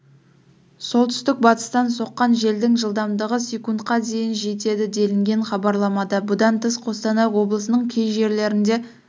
солтүстік-батыстан соққан желдің жылдамдығы с-қа дейін жетеді делінген хабарламада бұдан тыс қостанай облысының кей жерлерінде